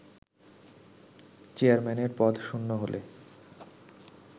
চেয়ারম্যানের পদ শূন্য হলে